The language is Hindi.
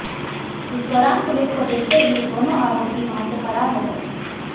इस दौरान पुलिस को देखते ही दोनों आरोपी वहां से फरार हो गए